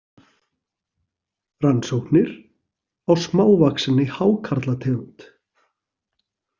Rannsóknir á smávaxinni hákarlategund.